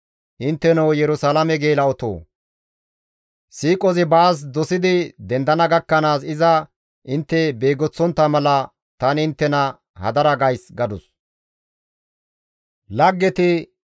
Intteno Yerusalaame geela7otoo! Siiqozi baas dosidi dendana gakkanaas iza intte beegoththontta mala tani inttena hadara gays» gadus.